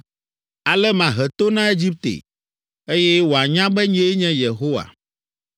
Ale mahe to na Egipte, eye wòanya be nyee nye Yehowa.’ ”